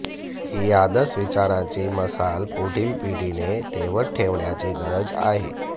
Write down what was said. ही आदर्श विचारांची मशाल पुढील पिढीने तेवत ठेवण्याची गरज आहे